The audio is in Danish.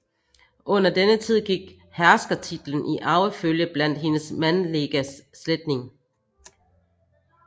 Under denne tid gik herskertitlen i arvefølge blandt hendes mandliga slægtinge